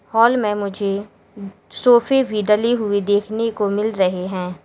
Hall में मुझे सोफे भी डले हुए देखने को मिल रहे हैं।